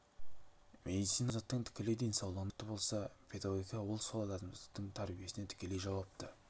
медицина адамзаттың тікелей денсаулығына жауапты болса педагогика ол сол адамзаттың тәрбиесіне тікелей жауапты